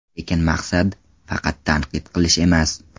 Lekin maqsad – faqat tanqid qilish emas.